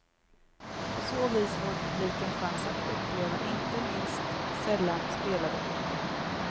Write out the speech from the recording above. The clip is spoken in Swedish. På så vis får publiken chans att uppleva inte minst sällan spelade operor.